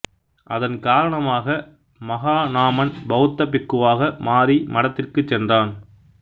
அதன் காரணமாக மகாநாமன் பௌத்தப் பிக்குவாக மாறி மடத்திற்குச் சென்றான்